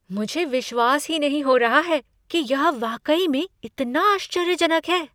मुझे विश्वास ही नहीं हो रहा है कि यह वाकई में इतना आश्चर्यजनक है!